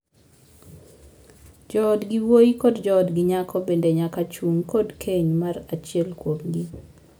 Joodgi wuoyi kod joodgi nyako bende nyaka chung' kod keny mar achiel kuomgi.